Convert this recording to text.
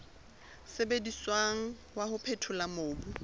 sebediswang wa ho phethola mobu